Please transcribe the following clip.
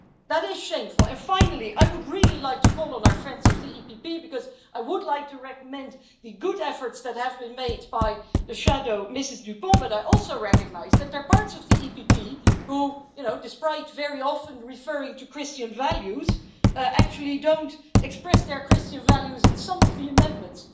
That is shameful. And finally, I would really like to call on our friends of the EPP because I would like to recommend the good efforts that have been made by the shadow, Ms Düpont, but I also recognise that there are parts of the EPP who, despite very often referring to Christian values, actually don't express their Christian values in some of the amendments.